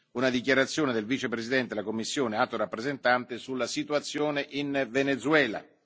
una dichiarazione del Vicepresidente della Commissione Alto rappresentante sulla situazione in Venezuela.